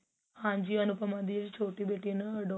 ਹਾਂਜੀ ਅਨੁਪ੍ਨਾ ਦੀ ਛੋਟੀ ਬੇਟੀ ਨਾ adopt